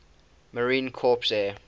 marine corps air